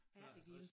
Ærtegilde